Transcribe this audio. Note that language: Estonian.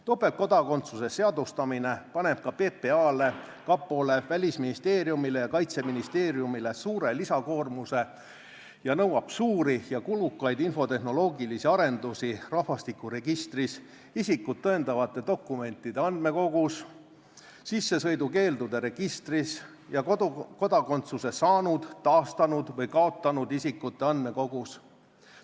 Topeltkodakondsuse seadustamine paneb ka PPA-le, kapole, Välisministeeriumile ja Kaitseministeeriumile suure lisakoormuse ning nõuab suuri ja kulukaid infotehnoloogilisi arendusi rahvastikuregistris, isikut tõendavate dokumentide andmekogus, sissesõidukeeldude registris ja kodakondsuse saanud, taastanud või kaotanud isikute andmekogus.